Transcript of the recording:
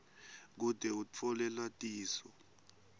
kute utfole lwatiso